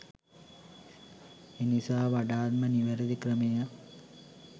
එනිසා වඩාත් ම නිවැරදි ක්‍රමය